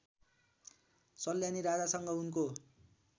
सल्यानी राजासँग उनको